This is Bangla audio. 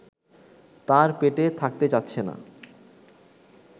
তার পেটে থাকতে চাচ্ছে না